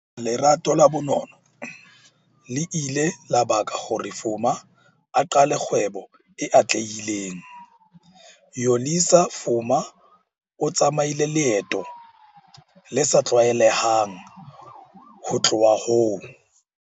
LERATO LA bonono le ile la baka hore Fuma a qale kgwebo e atlehileng. Yolisa Fuma o tsamaile leeto le sa tlwaelehang ho tloha ho